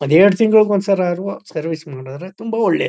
ಎರಡು ತಿಂಗಳಿಗೆ ಒಂದ್ಸರಾರುವ ಸರ್ವಿಸ್ ಮಾಡಿದರೆ ತುಂಬಾ ಒಳ್ಳೆದು.